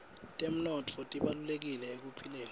temnotfo tibalulekile ekuphileni